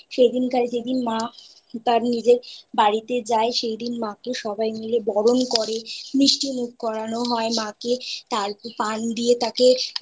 সেই দিনকারে যেদিন মা তার নিজের বাড়িতে যায় সেই দিন মাকে সবাই মিলে বরণ করে মিষ্টি মুখ করানো হয় মাকে তা